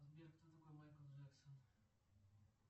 сбер кто такой майкл джексон